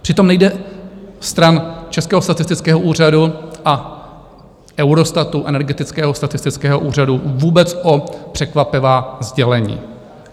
Přitom nejde stran Českého statistického úřadu a Eurostatu, Energetického statistického úřadu vůbec o překvapivá sdělení.